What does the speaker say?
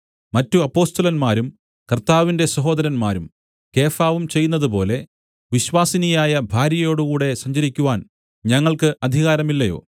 മറ്റ് അപ്പൊസ്തലന്മാരും കർത്താവിന്റെ സഹോദരന്മാരും കേഫാവും ചെയ്യുന്നതുപോലെ വിശ്വാസിനിയായ ഭാര്യയോടുകൂടെ സഞ്ചരിക്കുവാൻ ഞങ്ങൾക്ക് അധികാരമില്ലയോ